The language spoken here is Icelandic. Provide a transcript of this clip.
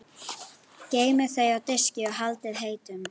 Geymið þau á diski og haldið heitum.